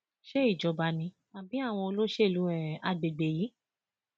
ṣe ìjọba ni àbí àwọn olóṣèlú um àgbègbè yìí